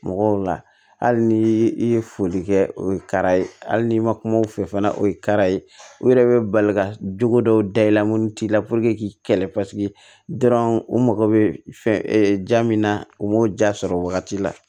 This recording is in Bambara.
Mɔgɔw la hali ni i ye foli kɛ o ye kara ye hali ni ma kuma u fɛ fana o ye kara ye u yɛrɛ bɛ bali ka jogo dɔw da i la mun t'i la k'i kɛlɛ u mago bɛ fɛn ja min na u b'o ja sɔrɔ wagati la